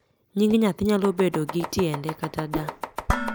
nying nyathi naylo bedo gi tiende kata da